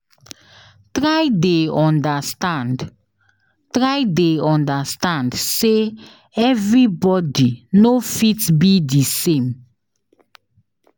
Try de understand Try de understand say everybody no fit be di same